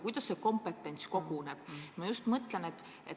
Kuidas see kompetents koguneb?